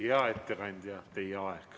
Hea ettekandja, teie aeg.